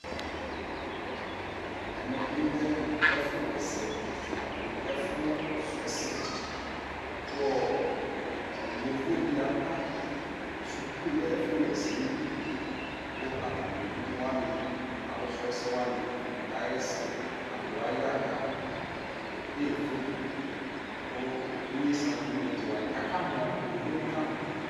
ɛmɛ bi lɛ ɛƒʋ wɛsɛ ɛƒʋ srɔ ɛsɛ kʋɔ yɔvɔ di aba skʋl ɛƒʋ wɛsɛ ɛli kʋ atani ɛvidzɛ wani alʋ srɔ ɛsɛ wani kayɛsɛ alɔ aya ka kɛdɛ phɔtɔ kʋ inyɛsɛ abʋɛ nʋ ɛvidzɛ wani kʋ aka mɔ, yɔvɔɛ bi kamɔ